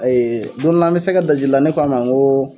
don dɔ la an bɛ sɛgɛ daji la ne ko a ma n ko